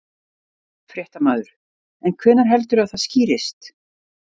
Fréttamaður: En hvenær heldurðu að það skýrist?